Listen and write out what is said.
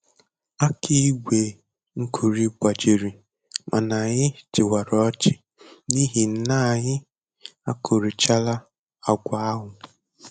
Aka igwe nkuri gbajiri, mana anyị chịwara ọchị n'ihi n'anyị akurichala agwa ahụ